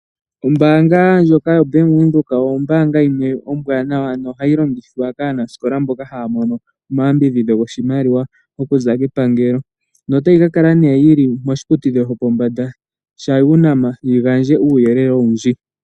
Ombaanga ndjoka yoBank Windhoek oyo ombaanga yimwe ombwaanawa nohayi longithwa kaanasikola mboka haya mono omayambidhidho goshimaliwa okuza kepangelo, notayi ka kala nee yili moshiputudhilo shopombanda sha UNAM yi gandje uuyelele owundji.